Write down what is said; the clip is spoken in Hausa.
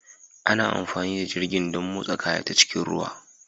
Ana amfani da jirgin don motsa kaya ta cikin ruwa